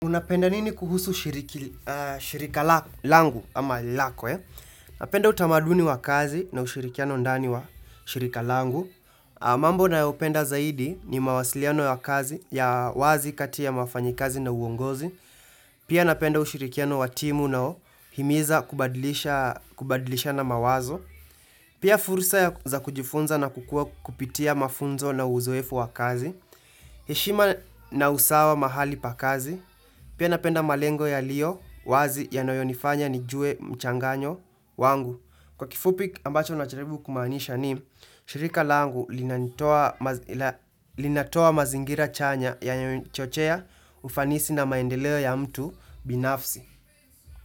Unapenda nini kuhusu shirika langu ama lako, Napenda utamaduni wa kazi na ushirikiano ndani wa shirika langu. Mambo nayopenda zaidi ni mawasiliano ya wazi kati ya wafanyikazi na uongozi. Pia napenda ushirikiano wa timu inaohimiza kubadilishana mawazo. Pia fursa za kujifunza kupitia mafunzo na uzoefu wa kazi. Heshima na usawa mahali pa kazi. Pia napenda malengo yalio wazi yanayonifanya nijue mchanganyo wangu. Kwa kifupi ambacho najaribu kumaanisha ni shirika langu linatoa mazingira chanya yenye huchochea ufanisi na maendeleo ya mtu binafsi.